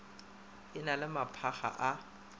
e na le maphakga a